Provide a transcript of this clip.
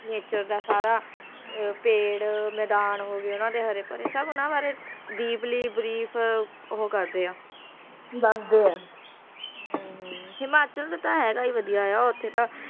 ਅਦਾਕਾਰਾ ਪ੍ਰਿਯੰਕਾ ਚੋਪੜਾ ਦੇ ਹਰ ਇੱਕ ਦਾ ਹੋਣਾ ਹਰੇਕ ਨੇ ਬ੍ਰੇਕ ਹੋ ਗਯਾ